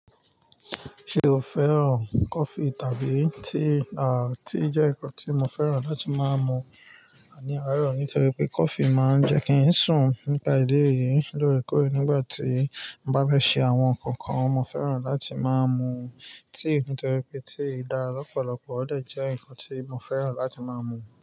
Ṣé o fẹ́ràn coffee tàbí tea? Tea jẹ́ ǹkan tí mo fẹ́ràn láti máa mu ni àárọ̀ nítorí pé kofi máa ń jẹ́ kí ń sùn nípa ìdí èyí lóòrèkóòrè nígbà tí bá fẹ̀ ṣe àwọn ǹkankan mo fẹ́ràn láti máa ń mu tea nítorí pé tea dá lọ́pọ̀lọpọ̀ ó dẹ̀ jẹ́ ǹkan tí mo fẹ́ràn láti máa ń mu.